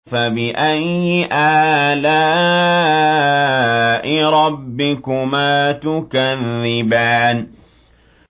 فَبِأَيِّ آلَاءِ رَبِّكُمَا تُكَذِّبَانِ